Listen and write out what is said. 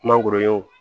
Kuma gururunin wo